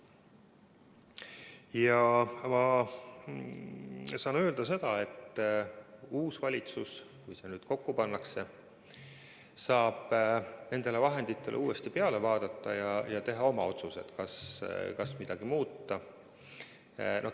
Ja ma saan öelda seda, et uus valitsus, kui see kokku pannakse, saab nendele vahenditele uuesti peale vaadata ja teha oma otsuse, kas midagi muuta.